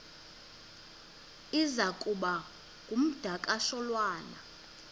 iza kuba ngumdakasholwana